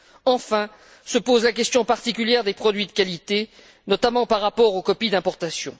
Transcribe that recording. Enfin se pose la question particulière des produits de qualité, notamment par rapport aux copies d'importation.